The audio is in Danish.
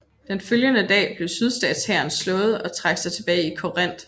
Den følgende dag blev sydstatshæren slået og trak sig tilbage til Corinth